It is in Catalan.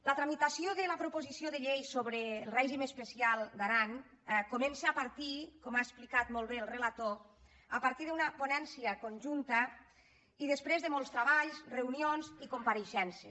la tramitació de la proposició de llei sobre el règim especial d’aran comença com ha explicat molt bé el relator a partir d’una ponència conjunta i després de molts treballs reunions i compareixences